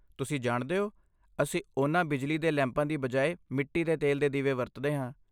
ਤੁਸੀਂ ਜਾਣਦੇ ਹੋ, ਅਸੀਂ ਉਨ੍ਹਾਂ ਬਿਜਲੀ ਦੇ ਲੈਂਪਾਂ ਦੀ ਬਜਾਏ ਮਿੱਟੀ ਦੇ ਤੇਲ ਦੇ ਦੀਵੇ ਵਰਤਦੇ ਹਾਂ।